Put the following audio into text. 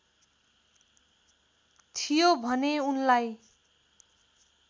थियो भने उनलाई